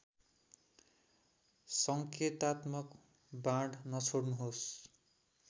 सङ्केतात्मक बाण नछोड्नुहोस्